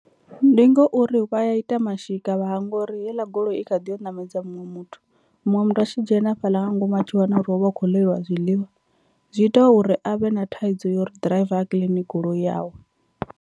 Ndi ngauri vha ya ita mashika vha hangwa uri heiḽa goloi i kha ḓiyo ṋamedza muṅwe muthu, muṅwe muthu a tshi dzhena hafhaḽa nga ngomu a tshi wana uri ho vha hu khou ḽeliwa zwiḽiwa zwi ita uri avhe na thaidzo ya uri ḓiraiva a kiḽini goloi yawe.